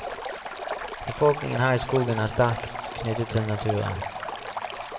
Befolkningen her i skogen er sterkt knyttet til naturen.